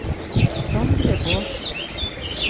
Sondre Bårdsen